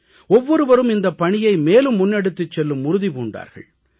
ஒவ்வொருவரும் இந்தப் பணியை மேலும் முன்னெடுத்துச் செல்லும் உறுதி பூண்டார்கள்